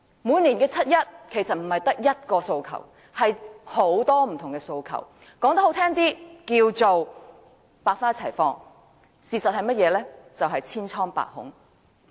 每年的七一遊行，市民其實不只有一個訴求，而是有很多不同的訴求，說得動聽些，可謂百花齊放，但事實上是社會千瘡百孔。